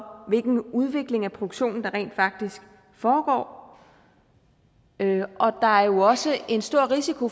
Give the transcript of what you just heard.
hvilken udvikling af produktionen der rent faktisk foregår og der er jo også en stor risiko